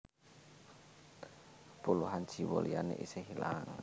Puluhan jiwa liyané isih ilang